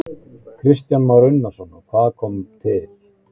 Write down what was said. Kristján Már Unnarsson: Og hvað eiginlega kom til?